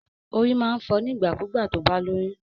Orí máa ń fọ nígbà kú gbà tó bá lóyún